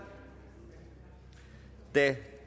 da